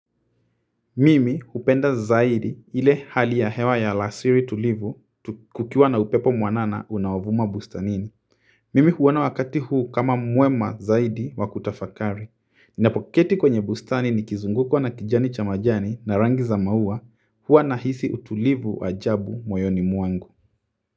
Mimi hupenda zaidi ile hali ya hewa ya alasiri tulivu kukiwa na upepo mwanana unaovuma bustanini mimi huona wakati huu kama mwema zaidi wa kutafakari. Ninapoketi kwenye bustani nikizungukwa na kijani cha majani na rangi za maua huwa nahisi utulivu ajabu moyoni mwangu.